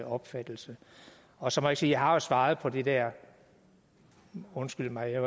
opfattelse og så må jeg sige jeg har svaret på den der undskyld mig